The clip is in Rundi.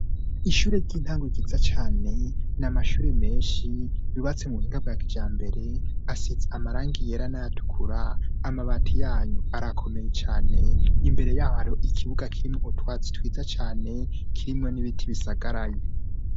Ishure ry'intango ryiza cane, ni amashure menshi bubatse mu buhinga bwa kijambere asize amarangi yera nay'atukura, amabati yayo arakomeye cane, imbere y'aho hari ikibuga kirimwo utwatsi twiza cane kirimwo n'ibiti bisagaraye.